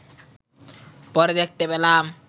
পরে দেখতে পেলাম